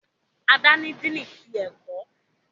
Ada ní Dínni tí ẹkọ